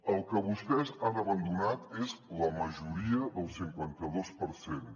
el que vostès han abandonat és la majoria del cinquanta dos per cent